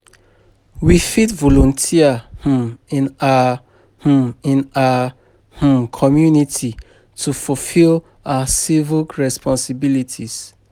We fit volunteer um in our um in our um community to fulfill our civic responsibilities.